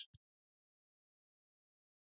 Ísland er að vinna fótboltaleikinn.